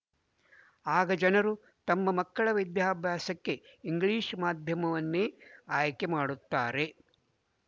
ಆಗ ಜನರು ತಮ್ಮ ಮಕ್ಕಳ ವಿದ್ಯಾಭ್ಯಾಸಕ್ಕೆ ಇಂಗ್ಲಿಶ ಮಾಧ್ಯಮವನ್ನೇ ಆಯ್ಕೆ ಮಾಡುತ್ತಾರೆ